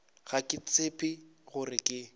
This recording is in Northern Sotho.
ga ke tshepe gore ke